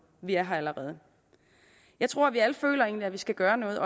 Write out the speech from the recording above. vi er her allerede jeg tror vi alle egentlig føler at vi skal gøre noget